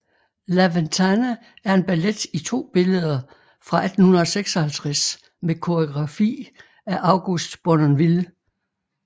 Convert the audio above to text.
La Ventana er en ballet i to billeder fra 1856 med koreografi af August Bournonville